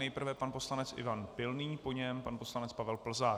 Nejprve pan poslanec Ivan Pilný, po něm pan poslanec Pavel Plzák.